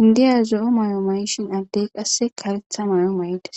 indiya zoyo mayo addeyi qassi karetha mayo maidossona